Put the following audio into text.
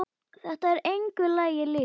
Þetta er engu lagi líkt.